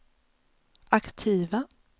aktiva